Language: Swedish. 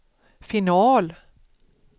final